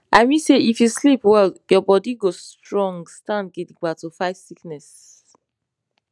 i mean say if you sleep well your bodi go strong stand gidigba to fight sickness